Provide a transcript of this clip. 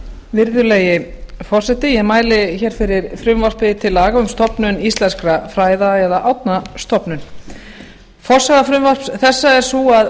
virðulegi forseti ég mæli fyrir frumvarpi til laga um stofnun íslenskra fræða eða árnastofnun forsaga frumvarps þessa er sú að